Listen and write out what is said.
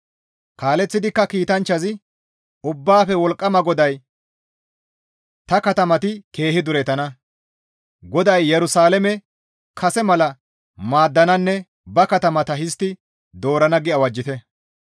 «Kaaleththidikka kiitanchchazi, ‹Ubbaafe Wolqqama GODAY ta katamati keehi duretana; GODAY Yerusalaame kase mala maaddananne ba katama histti doorana› » gi awajjite.